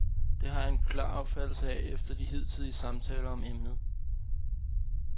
Det har jeg en klar opfattelse af efter de hidtidige samtaler om emnet.